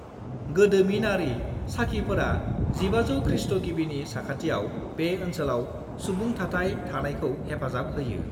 गोदोमिनारि साखिफोरा 1500 खृस्ट' गिबिनि साखाथियाव बे ओनसोलाव सुबुंथाथाय थानायखौ हेफाजाब होयो।